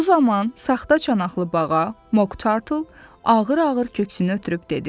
Bu zaman saxta çanaqlı bağa, Moq Tartle ağır-ağır köksünü ötürüb dedi.